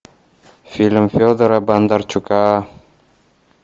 фильм федора бондарчука